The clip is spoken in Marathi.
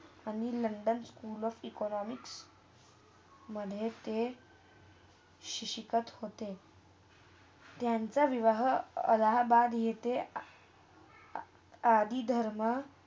आणि लंडन school of economics मधे ते शी शिकत होते. त्यांचा विवाह अलाहाबाद इथे अ आदि धर्म